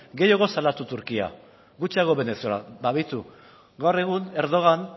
turkia begiratu gaur egun erdogan